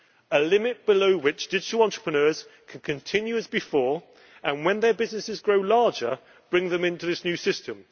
a limit below which digital entrepreneurs could continue as before, and then when their businesses grow larger, bring them into this new system?